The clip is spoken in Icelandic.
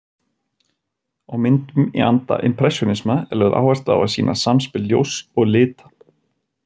Á myndum í anda impressjónisma er lögð áhersla á að sýna samspil ljóss og lita.